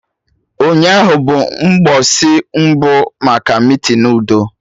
Ụnyaahụ bụ mgbọsị mbụ maka meetinu udo